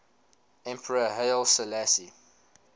emperor haile selassie